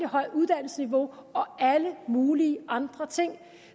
højt uddannelsesniveau og alle mulige andre ting